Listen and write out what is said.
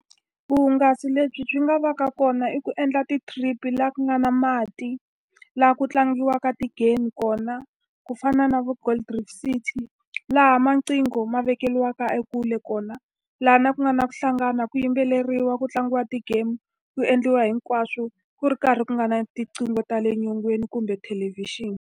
Vuhungasi lebyi byi nga va ka kona i ku endla ti-trip-i laha ku nga na mati, laha ku tlangiwaka ti-game kona. Ku fana na vo Gold Reef City, laha tinqigho ma vekeriwaka ekule kona. Laha ku nga na ku hlangana, ku yimbeleriwa, ku tlangiwa ti-game, ku endliwa hinkwaswo ku ri karhi ku nga na tinqingho ta le nyongeni kumbe thelevhixini.